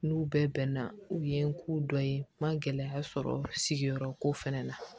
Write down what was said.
N'u bɛɛ bɛnna u ye n ko dɔ ye n ma gɛlɛya sɔrɔ ko fɛnɛ na